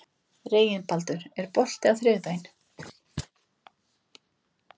Reginbaldur, er bolti á þriðjudaginn?